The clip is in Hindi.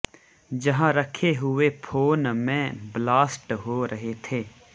जहां रखे हुए फोन में ब्लास्ट हो रहे थे